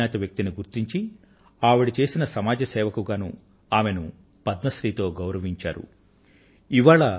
ఈ అజ్ఞాత వ్యక్తిని గుర్తించి ఆవిడ చేసిన సమాజ్ సేవకు గానూ ఆమెను పద్మశ్రీ తో గౌరవించడం జరిగింది